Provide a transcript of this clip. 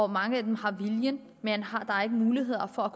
mange af dem har viljen men har har ikke muligheder for at